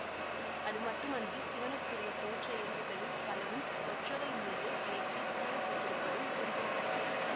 அது மட்டுமன்றி சிவனுக்குரிய தோற்ற இயல்புகளில் பலவும் கொற்றவைமீது ஏற்றி கூறப்பட்டிருப்பதும் குறிப்பிட தக்கது